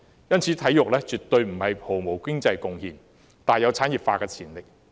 因此，體育絕對不是毫無經濟貢獻的，而是大有產業化的潛力。